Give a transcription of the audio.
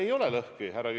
Ei ole lõhki!